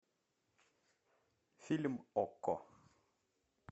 фильм окко